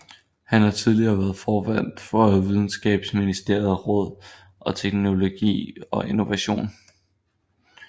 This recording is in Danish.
Han har tidligere været formand for Videnskabsministeriets Råd for Teknologi og Innovation